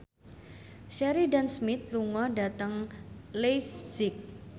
Sheridan Smith lunga dhateng leipzig